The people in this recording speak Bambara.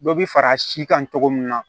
Dɔ bi fara a si kan togo min na